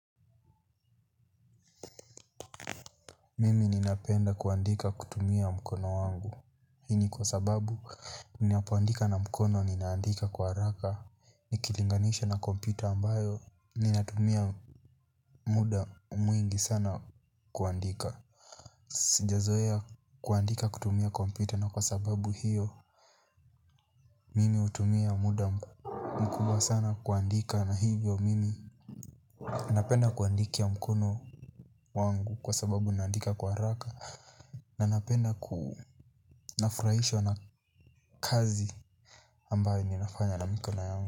Mimi ninapenda kuandika kutumia mkono wangu. Hiini kwa sababu ninapoandika na mkono ninaandika kwa haraka. Nikilinganisha na kompyuta ambayo ninatumia muda mwingi sana kuandika. Sijazoea kuandika kutumia kompyuta na kwa sababu hiyo. Mimi hutumia muda mkubwa sana kuandika na hivyo mimi. Ninapenda kuandikia mkono wangu kwa sababu ninaandika kwa haraka. Nanapenda kunafurahishwa na kazi ambayo ninafanya na miko na yangu.